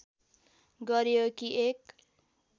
गरियो कि एक